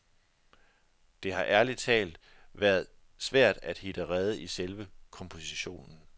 Det har ærligt talt været svært at hitte rede i selve kompositionen.